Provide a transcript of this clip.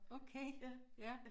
Okay ja